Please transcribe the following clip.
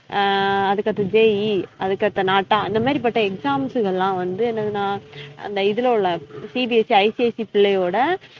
ஆஹ் அதுக்கடுத்து JE அதுக்கடுத்து NATA அந்த மாறிபட்ட exam கள்ளாம் வந்து என்னதுனா அந்த இதுல உள்ள CBSCICIC பிள்ளையோட